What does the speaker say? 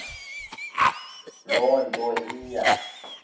loo nto iya